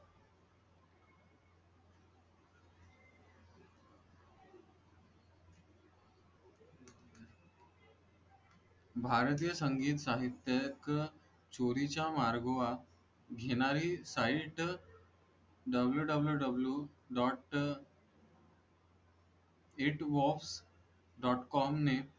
भारतीय संगीत साहित्य चोरीचा मार्ग वा घेणारी Sitewww dot it box dot com ने